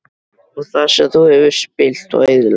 Og það sem þú hefur spillt og eyðilagt?